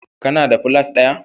Kana da plat taya.